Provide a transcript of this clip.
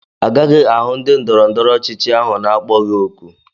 Agaghị ahụ ndị ndọrọ ndọrọ ọchịchị ahụ n'akpọghị òkù